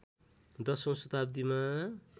१० औँ शताब्दीमा